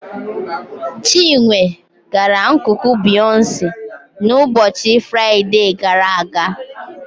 Chinwe gara nkuku Beyonce n'ụbọchị Fraịde gara aga.